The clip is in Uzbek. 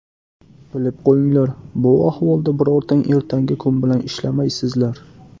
Bilib qo‘yinglar, bu ahvolda birortang ertangi kun bilan ishlamaysizlar.